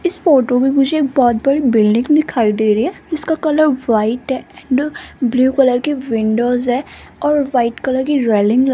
इस फोटो में मुझे एक बहोत बड़ी बिल्डिंग दिखाई दे रही है इसका colour white and blue colour के विंडोज है और वाइट कलर की रेलिंग ल--